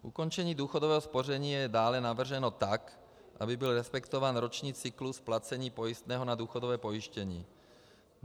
Ukončení důchodového spoření je dále navrženo tak, aby byl respektován roční cyklus placení pojistného na důchodové pojištění.